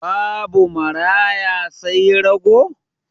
Babu maraya sai rago?